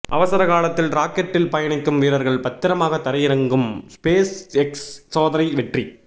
அவசர காலத்தில் ராக்கெட்டில் பயணிக்கும் வீரர்கள் பத்திரமாக தரையிறங்கும் ஸ்பேஸ் எக்ஸ் சோதனை வெற்றி